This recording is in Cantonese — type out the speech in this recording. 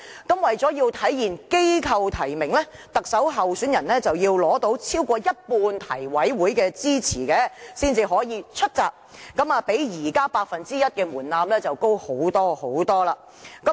那麼為了體現機構提名，特首候選人須要取得超過一半提委會的支持才能"出閘"，較現時八分之一的門檻高很多。